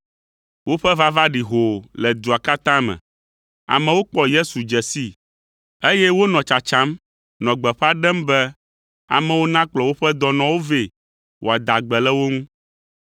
Woƒe vava ɖi hoo le dua katã me. Amewo kpɔ Yesu dze sii, eye wonɔ tsatsam nɔ gbeƒã ɖem be amewo nakplɔ woƒe dɔnɔwo vɛ wòada gbe le wo ŋu.